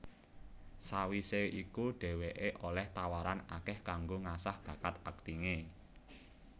Sawisé iku dheweké olih tawaran akeh kanggo ngasah bakat aktingé